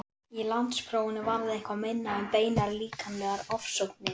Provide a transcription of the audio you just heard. Í landsprófinu varð eitthvað minna um beinar líkamlegar ofsóknir.